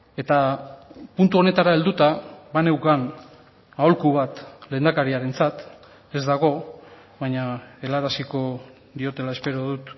eta puntu honetara helduta baneukan aholku bat lehendakariarentzat ez dago baina helaraziko diotela espero dut